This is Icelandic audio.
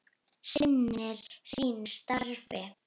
Sinnir sínu starfi.